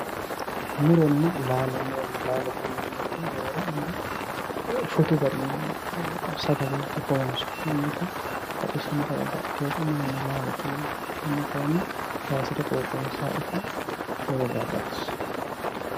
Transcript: Muronna laalo yineemmo woyiite roore angga shotu garinni sagalenke horoonsi'neemmota muronna laalo yineemmo tenne kayiisira qooxeessaho ita lowo geyaa baxissawo